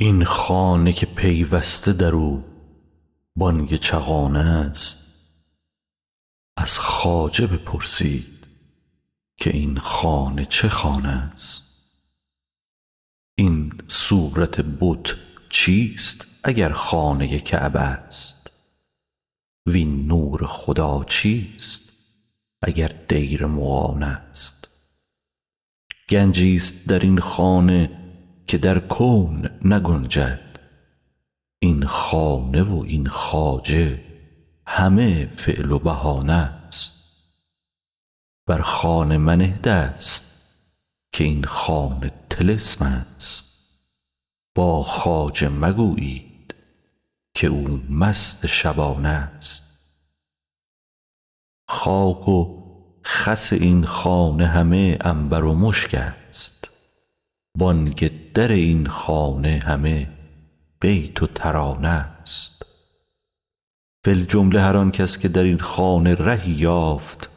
این خانه که پیوسته در او بانگ چغانه ست از خواجه بپرسید که این خانه چه خانه ست این صورت بت چیست اگر خانه کعبه ست وین نور خدا چیست اگر دیر مغانه ست گنجی ست در این خانه که در کون نگنجد این خانه و این خواجه همه فعل و بهانه ست بر خانه منه دست که این خانه طلسم ست با خواجه مگویید که او مست شبانه ست خاک و خس این خانه همه عنبر و مشک ست بانگ در این خانه همه بیت و ترانه ست فی الجمله هر آن کس که در این خانه رهی یافت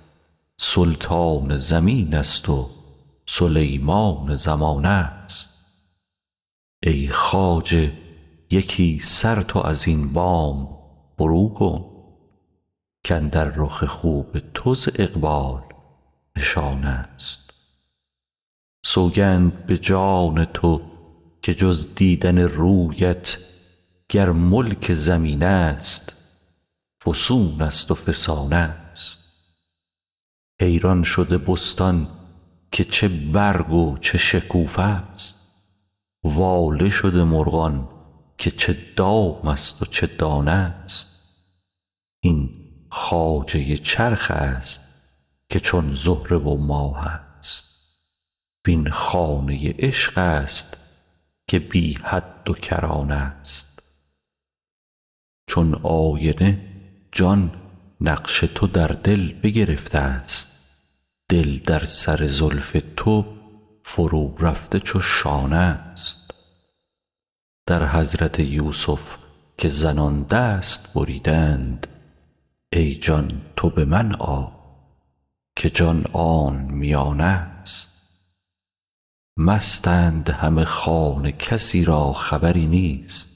سلطان زمین ست و سلیمان زمانه ست ای خواجه یکی سر تو از این بام فروکن کاندر رخ خوب تو ز اقبال نشانه ست سوگند به جان تو که جز دیدن رویت گر ملک زمین ست فسون ست و فسانه ست حیران شده بستان که چه برگ و چه شکوفه ست واله شده مرغان که چه دام ست و چه دانه ست این خواجه چرخ ست که چون زهره و ماه ست وین خانه عشق است که بی حد و کرانه ست چون آینه جان نقش تو در دل بگرفته ست دل در سر زلف تو فرورفته چو شانه ست در حضرت یوسف که زنان دست بریدند ای جان تو به من آی که جان آن میانه ست مستند همه خانه کسی را خبری نیست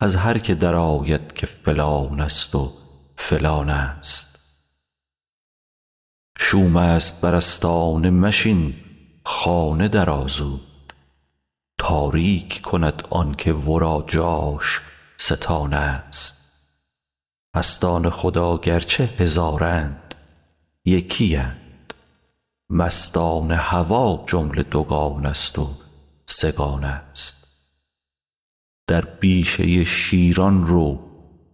از هر کی درآید که فلان ست و فلانه ست شوم ست بر آستانه مشین خانه درآ زود تاریک کند آنک ورا جاش ستانه ست مستان خدا گرچه هزارند یکی اند مستان هوا جمله دوگانه ست و سه گانه ست در بیشه شیران رو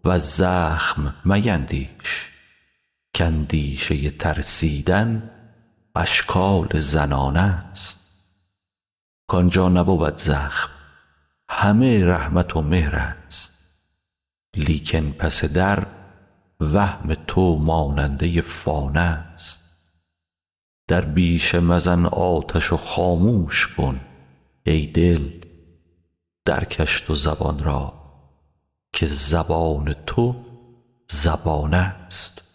وز زخم میندیش که اندیشه ترسیدن اشکال زنانه ست کان جا نبود زخم همه رحمت و مهر ست لیکن پس در وهم تو ماننده فانه ست در بیشه مزن آتش و خاموش کن ای دل درکش تو زبان را که زبان تو زبانه ست